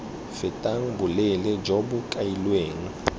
fetang boleele jo bo kailweng